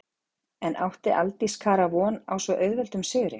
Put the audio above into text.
En átti Aldís Kara von á svo auðveldum sigri?